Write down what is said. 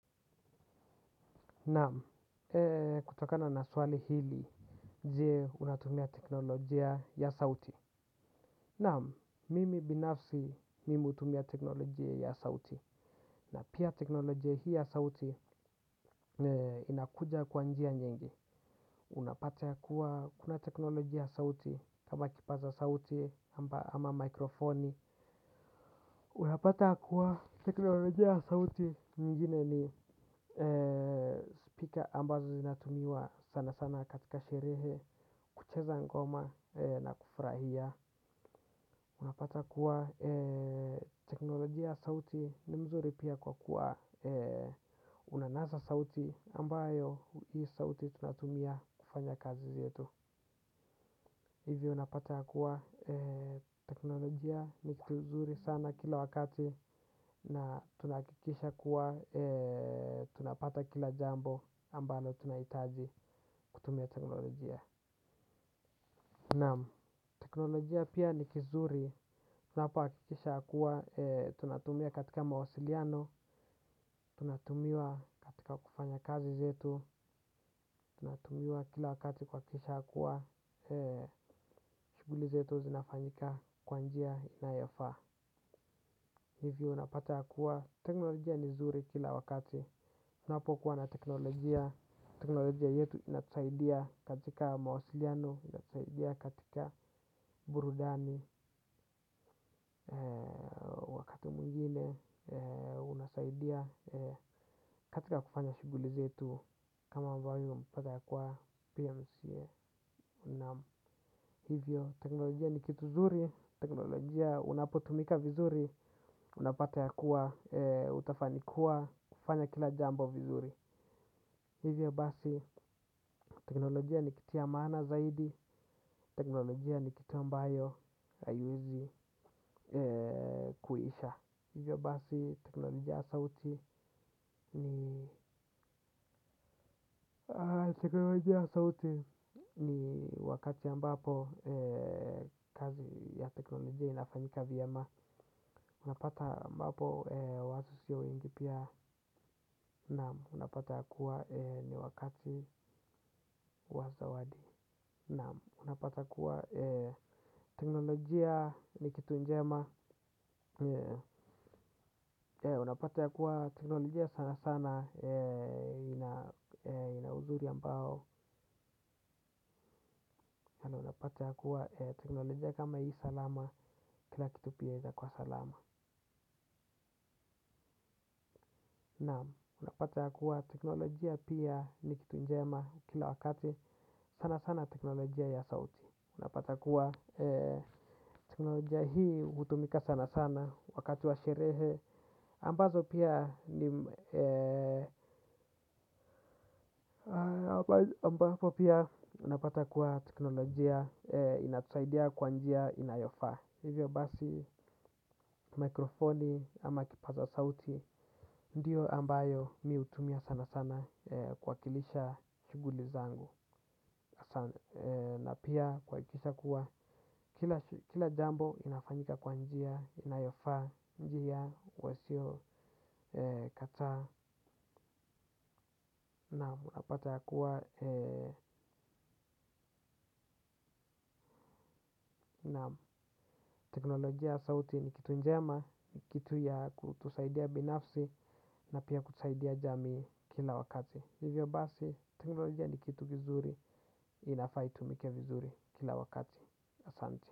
Naam, kutokana na swali hili, je unatumia teknolojia ya sauti. Naam, mimi binafsi mimi hutumia teknolojia ya sauti na pia teknolojia hii ya sauti inakuja kwa njia nyingi. Unapata ya kuwa, kuna teknolojia ya sauti, kama kipaza sauti, ama mikrofoni. Unapata ya kuwa teknolojia ya sauti nyingine ni speaker ambazo zinatumiwa sana sana katika sherehe kucheza ngoma na kufurahia unapata kuwa teknolojia sauti ni mzuri pia kwa kuwa unanasa sauti ambayo hii sauti tunatumia kufanya kazi zetu hivi unapata ya kuwa teknolojia nikitu zuri sana kila wakati na tunahakikisha kuwa tunapata kila jambo ambalo tunahitaji kutumia teknolojia. Naam, teknolojia pia ni kizuri. Tunapohakikisha ya kuwa, tunatumia katika mawasiliano. Tunatumia katika kufanya kazi zetu. Tunatumia kila wakati kwa kisha ya kuwa shuguli zetu zinafanyika kwa njia inayofaa. Hivyo unapata ya kuwa, teknolojia ni zuri kila wakati. Unapokuwa na teknolojia, teknolojia yetu inatusaidia katika mawasiliano, inatusaidia katika burudani mengine, unasaidia katika kufanya shuguli zetu kama ambayi umepata ya kuwa PMCA. Hivyo teknolojia ni kitu zuri, teknolojia unapotumika vizuri, unapata ya kuwa, utafanikiwa kufanya kila jambo vizuri. Hivyo basi teknolojia ni kitu ya maana zaidi, teknolojia ni kitu ambayo haiwezi kuisha. Hizyo basi teknolojia ya sauti ni teknolojia ya sauti ni wakati ambapo kazi ya teknolojia inafanyika vyema. Unapata ambapo watu sio wengi pia. Naam unapata ya kuwa ni wakati wazawadi. Naam unapata ya kuwa teknolojia ni kitu njema. Unapata ya kuwa teknolojia sana sana inauzuri ambao na unapata ya kuwa teknolojia kama hii salama kila kitu pia yaeza kuwa salama. Naam unapata ya kuwa teknolojia pia ni kitu njema kila wakati sana sana teknolojia ya sauti unapata kuwa teknolojia hii hutumika sana sana wakati wa sherehe ambazo pia ambazo pia unapata kuwa teknolojia inatusaidia kwa njia inayofaa hivyo basi mikrofoni ama kipaza sauti ndiyo ambayo mimi hutumia sana sana kuwakilisha shuguli zangu na pia kuhakikisha kuwa kila jambo inafanyika kwa njia, inayofaa njia, uwasio kata naam unapata ya kuwa naam teknolojia sauti ni kitu njema, kitu ya kutusaidia binafsi na pia kutusaidia jamii kila wakati. Hivyo basi, teknolojia ni kitu kizuri, inafaa itumike vizuri kila wakati.